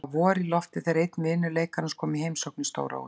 Það var vor í lofti þegar einn vina leikarans kom í heimsókn í stóra húsið.